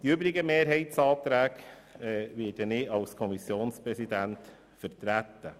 Die übrigen Anträge werde ich als Kommissionspräsident vertreten.